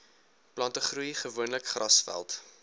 plantegroei gewoonlik grasveld